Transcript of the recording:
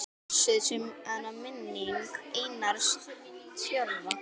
Blessuð sé minning Einars Tjörva.